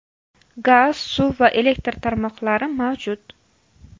Gaz, suv va elektr tarmoqlari mavjud.